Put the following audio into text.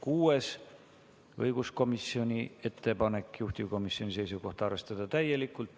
Kuueski on õiguskomisjoni ettepanek, juhtivkomisjoni seisukoht on arvestada seda täielikult.